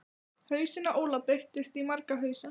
Hausinn á Óla breytist í marga hausa.